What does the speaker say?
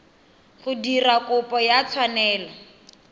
go dira kopo ya tshwanelo